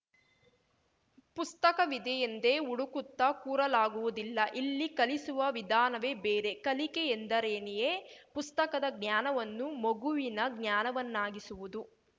ಪುಸ್ತಕವಿದೆಯೆಂದೇ ಹುಡುಕುತ್ತಾ ಕೂರಲಾಗುವುದಿಲ್ಲ ಇಲ್ಲಿ ಕಲಿಸುವ ವಿಧಾನವೇ ಬೇರೆ ಕಲಿಕೆ ಎಂದರೇನೇಯೇ ಪುಸ್ತಕದ ಜ್ಞಾನವನ್ನು ಮಗುವಿನ ಜ್ಞಾನವನ್ನಾಗಿಸುವುದು